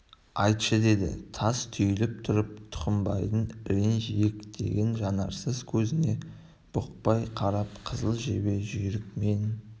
айтшы деді тас түйіліп тұрып тұқымбайдың ірің жиектеген жанарсыз көзіне бұқпай қарап қызыл жебе жүйрік мен